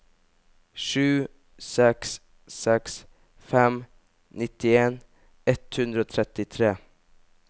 sju seks seks fem nittien ett hundre og trettitre